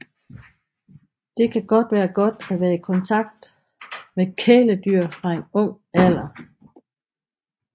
Det kan være godt at være i kontakt med kæledyr fra en ung alder